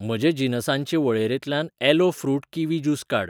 म्हजे जिनसांचे वळेरेंतल्यान ॲलो फ्रुट किवी ज्यूस काड.